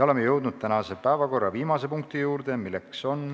Oleme jõudnud tänase päevakorra viimase punkti juurde.